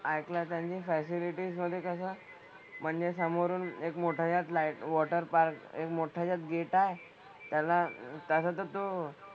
ऐकण्यात आणि फॅसीलीटीज मधे कसं म्हणजे समोरून एक मोठा यात लाईट हाऊस वॉटर पार्क एक मोठं याच्यात गेट आहे. त्याला त्याचं तर तो,